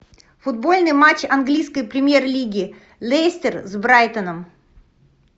футбольный матч английской премьер лиги лестер с брайтоном